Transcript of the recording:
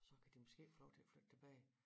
Så kan de måske få lov til at flytte tilbage